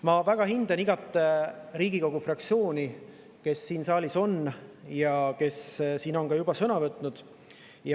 Ma väga hindan igat Riigikogu fraktsiooni, kes siin saalis on ja kes on ka juba sõna võtnud.